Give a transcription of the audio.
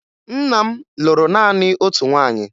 Nna m lụrụ naanị otu nwaanyị